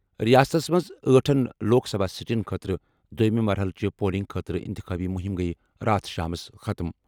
رِیاستس منٛز ٲٹھن لوک سبھا سیٹن خٲطرٕ دۄیمہِ مرحلہٕ چہِ پولنگ خٲطرٕ اِنتِخابی مُہِم گٔیہِ راتھ شامَس ختٕم۔